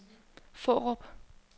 Fårup